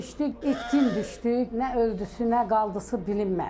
Döyüşdü, itkin düşdü, nə öldüsü, nə qaldısı bilinmədi.